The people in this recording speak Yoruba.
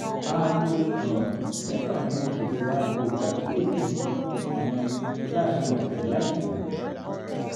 aago um mẹ́fà ni mo ṣètò aago ìpàkíyèsí mi sí um láàárín ọ̀sẹ̀ láì kùnà